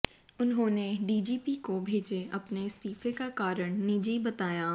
उन्होंने डीजीपी को भेजे अपने इस्तीफे का कारण निजी बताया